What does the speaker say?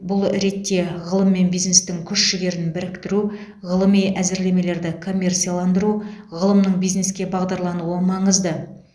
бұл ретте ғылым мен бизнестің күш жігерін біріктіру ғылыми әзірлемелерді коммерцияландыру ғылымның бизнеске бағдарлануы маңызды